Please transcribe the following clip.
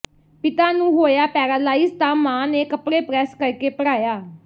ਪਿਤਾ ਨੂੰ ਹੋਇਆ ਪੈਰਾਲਾਈਜ਼ ਤਾਂ ਮਾਂ ਨੇ ਕੱਪੜੇ ਪ੍ਰੈੱਸ ਕਰਕੇ ਪੜ੍ਹਾਇਆ